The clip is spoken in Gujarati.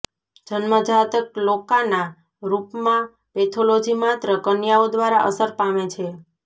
જન્મજાત ક્લોકાના રૂપમાં પેથોલોજી માત્ર કન્યાઓ દ્વારા અસર પામે છે